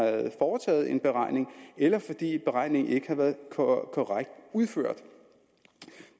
foretaget en beregning eller fordi beregningen ikke har været korrekt udført